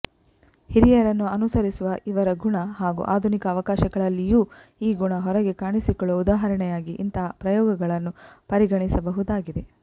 ಹಿರಿಯರನ್ನು ಅನುಸರಿಸುವ ಇವರ ಗುಣ ಹಾಗೂ ಆಧುನಿಕ ಅವಕಾಶಗಳಲ್ಲಿಯೂ ಈ ಗುಣ ಹೊರಗೆ ಕಾಣಿಸಿಕೊಳ್ಳುವ ಉದಾಹರಣೆಯಾಗಿ ಇಂತಹ ಪ್ರಯೋಗಗಳನ್ನು ಪರಿಗಣಿಸಬಹುದಾಗಿದೆ